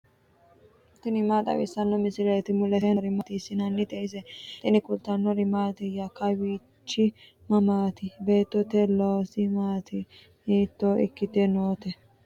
tini maa xawissanno misileeti ? mulese noori maati ? hiissinannite ise ? tini kultannori mattiya? kawiichchi mamaatti? beettote loosi maatti? hiitto ikkitte nootte?